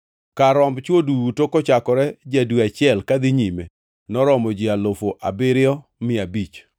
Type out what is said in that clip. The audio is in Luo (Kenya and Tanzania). Kar romb chwo duto kochakore ja-dwe achiel kadhi nyime noromo ji alufu abiriyo mia abich (7,500).